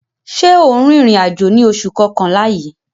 Ṣé o ń rìnrìn àjò ní oṣù kọkànlá yìí?